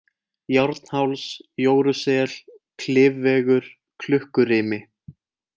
Járnháls, Jórusel, Klifvegur, Klukkurimi